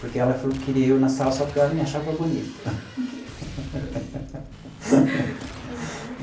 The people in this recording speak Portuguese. Porque ela falou que queria eu na sala só porque ela me achava bonito.